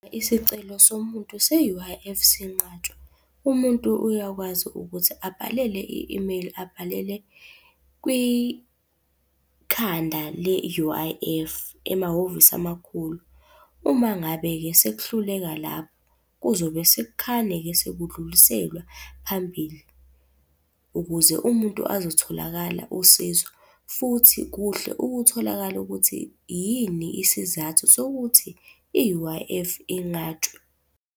Isicelo somuntu se-U_I_F senqatshwa. Umuntu uyakwazi ukuthi abhalele i-imeyili abhalele kwikhanda le-U_I_F, emahhovisi amakhulu. Uma ngabe-ke sekuhluleka lapho, kuzobe sekukhane-ke sekudluliselwa phambili ukuze umuntu azotholakala usizo, futhi kuhle ukutholakala ukuthi yini isizathu sokuthi i-U_I_F .